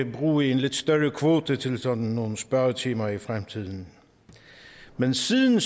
bruge en lidt større kvote til sådan nogle spørgetimer i fremtiden men siden